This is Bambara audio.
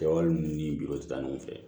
Kɛwale ninnu ni biw tɛ taa ɲɔgɔn fɛ